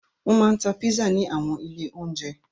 Wọn máa ń ta pizza ní àwọn ilé-oúnjẹ.